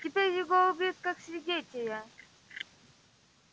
теперь его убьют как свидетеля